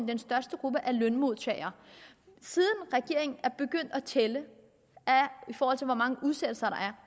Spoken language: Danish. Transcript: den største gruppe er lønmodtagere og siden regeringen er begyndt at tælle hvor mange udsættelser